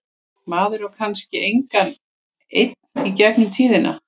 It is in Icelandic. Maður á kannski engan einn í gegnum tíðina.